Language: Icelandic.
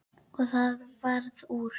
Og það varð úr.